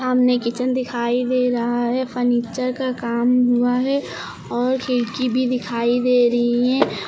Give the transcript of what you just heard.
सामने किचन दिखाई दे रहा है फर्नीचर का काम हुआ है और खिड़की भी दिखाई दे रही हैं।